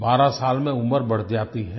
12 साल में उम्र बढ़ जाती है